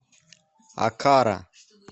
окара